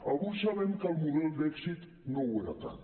avui sabem que el model d’èxit no ho era tant